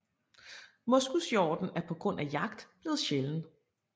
Moskushjorten er på grund af jagt blevet sjælden